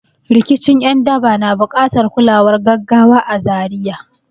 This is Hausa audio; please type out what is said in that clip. Rikicin ’yan daba na buƙatar kulawar gaggawa a Zaria.